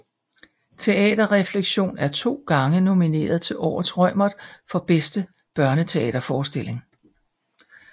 Teater Refleksion er to gange nomineret til Årets Reumert for Bedste Børneteaterforestilling